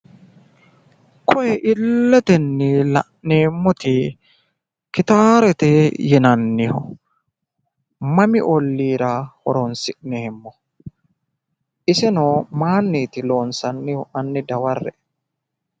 Tini illetenni la'neemmoti gitaarete yinanni mami olliira horonsi'neemmo? iseno maayiinniiti loonsannihu? hanni daware'e.